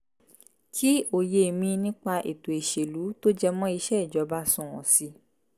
kí òye mi nípa ètò ìṣèlú tó jẹ mọ́ iṣẹ́ ìjọba sunwọ̀n sí i